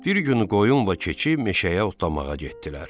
Bir gün qoyunla keçi meşəyə otlamağa getdilər.